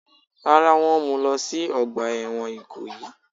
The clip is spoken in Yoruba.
Rárá, wọ́n mú u lọ sí ọgbà ẹ̀wọ̀n Ìkòyí.